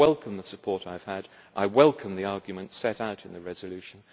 I welcome the support I have had, and I welcome the arguments set out in the resolution.